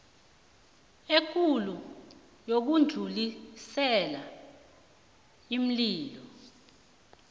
ekulu yokudlulisela iinlilo